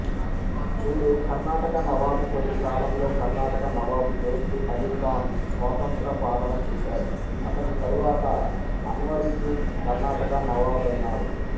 చూడుకర్నాటక నవాబు కొద్దికాలంలో కర్నాటక నవాబు దోస్త్ అలీఖాన్ స్వతంత్రపాలన చేశాడు అతని తరువాత అన్వ రుద్దీన్ కర్నాటక నవాబైనాడు